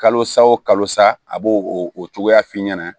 Kalosa wo kalosa a b'o o cogoya f'i ɲɛna